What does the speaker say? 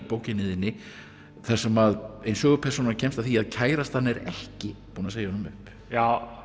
bókinni þinni þar sem ein sögupersónan kemst að því að kærastan er ekki búin að segja honum upp já